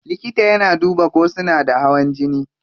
Likita yana duba ko suna da hawan jini.